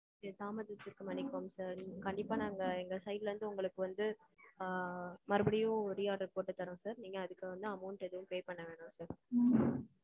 okay தாமதத்திற்கு மன்னிக்கணும் sir. கண்டிப்பா நாங்க எங்க side ல இருந்து உங்களுக்கு வந்து ஆ. மறுபடியும் re-order போட்டு தர்றோம் sir. நீங்க அதுக்கு ஏதும் amount pay பண்ண வேணாம் sir.